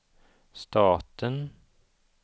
staten